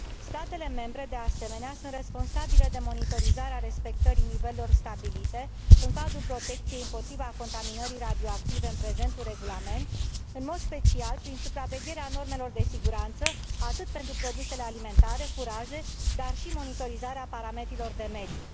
Statele membre, de asemenea, sunt responsabile de monitorizarea respectării nivelurilor stabilite în cadrul protecției împotriva contaminării radioactive în prezentul regulament, în mod special prin supravegherea normelor de siguranță, atât pentru produsele alimentare, cât și pentru furaje, dar și prin monitorizarea parametrilor de mediu.